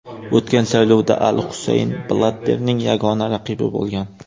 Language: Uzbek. O‘tgan saylovda al Husayn Blatterning yagona raqibi bo‘lgan.